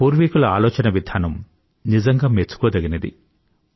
మన పూర్వీకుల ఆలోచనవిధానం నిజంగా మెచ్చుకోదగినది